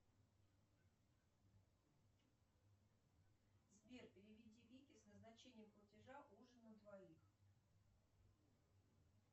сбер переведи вике с назначением платежа ужин на двоих